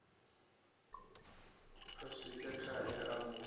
a swike khae a mu